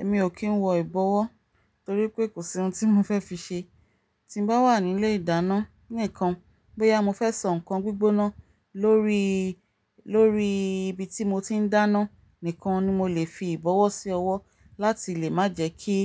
Èmi ò kí ń wọ ìbọwọ́ torí pé kò sí ohun tí mo fẹ́ fi ṣe. Ti n bá wà nílé ìdáná nìkan, bóyá mo fẹ́ sọ nǹkan gbígbóná lórí, lórí ibi tí mo ti n dáná nìkan ni mo lè fi ìbọwọ́ sí ọwọ́ láti lè má jẹ ki